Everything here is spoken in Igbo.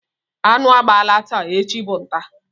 Anụ gbalaa taa, echi bụ ntá.